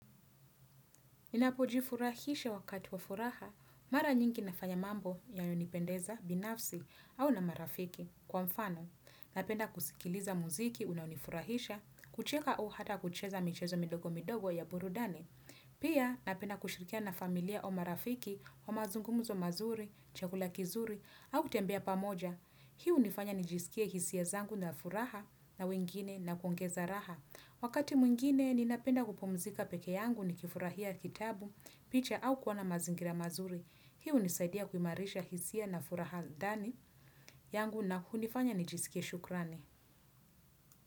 Ninapo jifurahisha wakati wa furaha, mara nyingi nafanya mambo yananipendeza, binafsi, au na marafiki kwa mfano. Napenda kusikiliza muziki, unaonifurahisha, kucheka au hata kucheza michezo midogo midogo ya burudani. Pia napenda kushirikiana na familia o marafiki, kwa mazungumuzo mazuri, chakula kizuri, au kutembea pamoja. Hii hunifanya nijisikie hisia zangu na furaha na wengine na kuongeza raha. Wakati mwingine, ninapenda kupumzika peke yangu ni kifurahia kitabu, picha au kuona mazingira mazuri. Hii hunisaidia kuimarisha hisia na furaha ndani yangu na hunifanya nijisikie shukrani.